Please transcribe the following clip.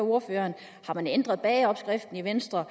ordføreren har man ændret bageopskriften i venstre